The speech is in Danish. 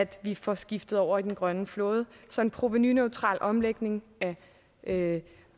vi får skiftet over til den grønne flåde så en provenuneutral omlægning af